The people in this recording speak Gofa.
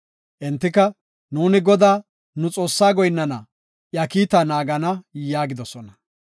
Entika, “Nuuni Godaa, nu Xoossaa goyinnana; iya kiita naagana” yaagidosona.